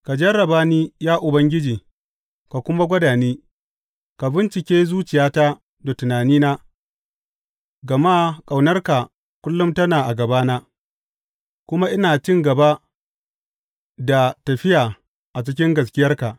Ka jarraba ni, ya Ubangiji, ka kuma gwada ni, ka bincike zuciyata da tunanina; gama ƙaunarka kullum tana a gabana, kuma ina cin gaba da tafiya a cikin gaskiyarka.